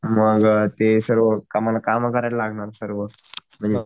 मग ते सर्व आम्हला काम करायला लागणार सर्व म्हणजे